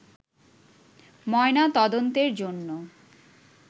ময়নাতদন্তের জন্য